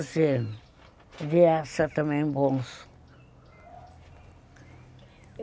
As crianças também são boas.